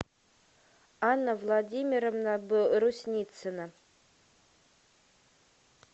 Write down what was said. анна владимировна брусницына